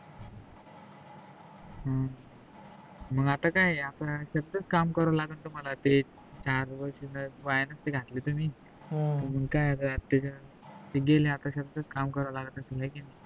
मग आता, आता काय घरच च काम कराव लागणार तुम्हाला ते चार वर्ष जर वाया नसते घातले तुम्ही ते आता गेले आता साध्याच काम कराव लागत असल हाय कि नाही